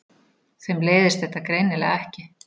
Þeim leiðist þetta greinilega ekki.